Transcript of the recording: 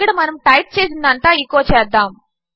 ఇక్కడమనముటైప్చేసినదంతా echo చేద్దాము